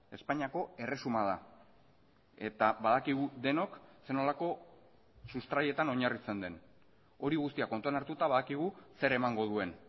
espainiako erresuma da eta badakigu denok zer nolako sustraietan oinarritzen den hori guztia kontuan hartuta badakigu zer emango duen